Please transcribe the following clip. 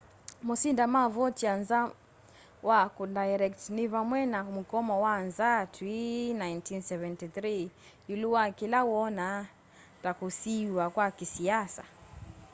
mosindi ma vautier nza wa kundairect ni vamwe na mukomo wa nzaa twi 1973 iulu wa kila woona ta kusiiwa kwa kisiasa